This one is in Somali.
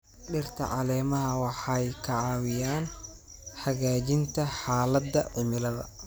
Dhirta caleemaha waxay ka caawiyaan hagaajinta xaaladda cimilada.